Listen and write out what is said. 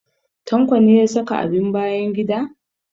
Tanko ne ya saka abin bayan gida?